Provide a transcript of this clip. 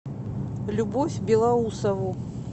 любовь белоусову